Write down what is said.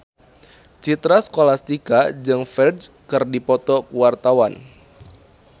Citra Scholastika jeung Ferdge keur dipoto ku wartawan